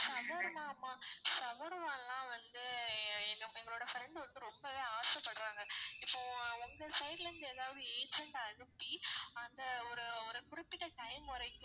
shawarma மா shawarma லாம் வந்து எங்களோட friend ஒருத்தர் ரொம்ப ஆசை படுறாங்க இப்போ உங்க side ல இருந்து எதாவது agent அனுப்பி அந்த ஒரு ஒரு குறிப்பிட்ட time வரைக்கும்